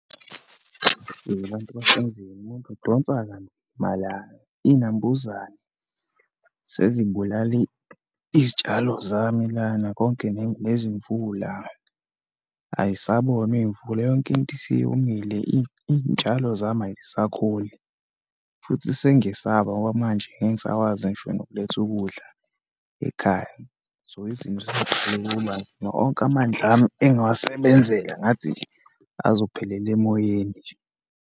Abantu , umuntu udonsa kanzima la, iyinambuzane sezibulale izitshalo zami lana konke nezimvula. Ayisabonwa iyimvula, yonke into isiyomile, iyitshalo zami ayisakhuli futhi sengiyesaba ngoba manje ngeke ngisakwazi ngisho nokuletha ukudla ekhaya. So, onke amandla ami engiwasebenzela ngathi nje azophela emoyeni nje.